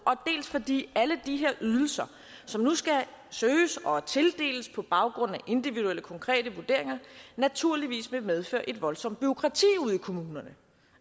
dels fordi alle de her ydelser som nu skal søges og tildeles på baggrund af individuelle konkrete vurderinger naturligvis vil medføre et voldsomt bureaukrati ude i kommunerne